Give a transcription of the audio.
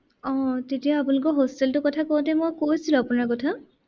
আহ তেতিয়া আপোনালোকৰ hostel টোৰ কথা কওঁতে মই কৈছিলো আপোনাৰ কথা।